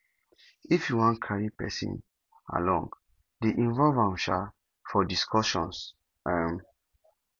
if you wan carry person along dey involve am um for discussion um